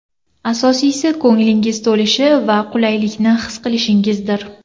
Asosiysi, ko‘nglingiz to‘lishi va qulaylikni his qilishingizdir.